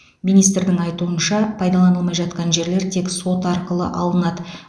министрдің айтуынша пайдаланылмай жатқан жерлер тек сот арқылы алынады